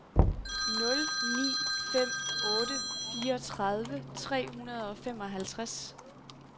nul ni fem otte fireogtredive tre hundrede og femoghalvtreds